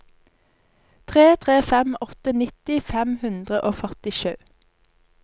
tre tre fem åtte nitti fem hundre og førtisju